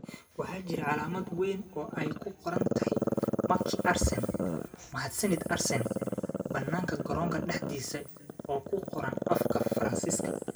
Waxaa jirtay calaamad weyn oo ay ku qoran tahay "Merci Arsene" (Mahadsanid Arsene) bannaanka garoonka dhexdiisa oo ku qoran afka Faransiiska.